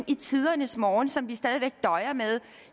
i tidernes morgen som vi stadig væk døjer med